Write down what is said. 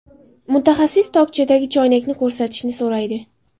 Mutaxassis tokchadagi choynakni ko‘rsatishni so‘raydi.